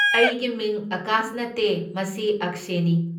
ꯑꯩꯒꯤ ꯃꯤꯡ ꯑꯥꯀꯥꯁ ꯅꯠꯇꯦ, ꯃꯁꯤ ꯑꯛꯁꯦꯅꯤ꯫